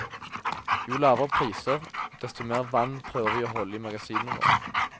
Jo lavere priser, desto mer vann prøver vi å holde i magasinene våre.